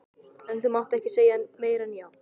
En þú mátt ekki segja meira en já.